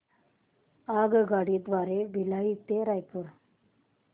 आगगाडी द्वारे भिलाई ते रायपुर